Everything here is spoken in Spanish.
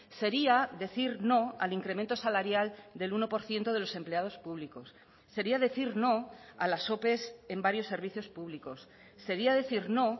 sería decir no al incremento salarial del uno por ciento de los empleados públicos sería decir no a las ope en varios servicios públicos sería decir no